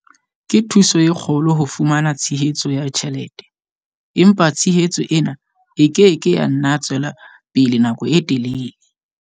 Ke thuso e kgolo ho fumana tshehetso ya ditjhelete, empa tshehetso ena e ke ke ya nna tswela pele nako e telele.